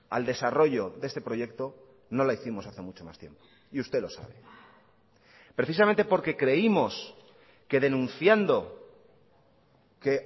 al desarrollo de este proyecto no la hicimos hace mucho más tiempo y usted lo sabe precisamente porque creímos que denunciando que